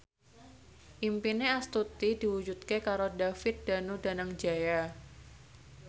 impine Astuti diwujudke karo David Danu Danangjaya